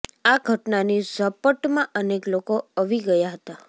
આ ઘટનાની ઝપટમાં અનેક લોકો અવી ગયા હતા